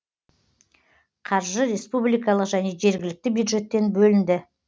қаржы республикалық және жергілікті бюджеттен бөлінді